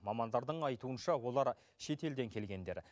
мамандардың айтуынша олар шетелден келгендер